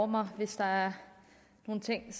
mig hvis der er nogle ting